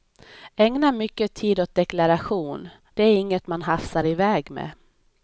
Ägna mycket tid åt deklaration, det är inget man hafsar iväg med.